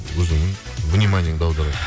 өзіңнің вниманияңды аударады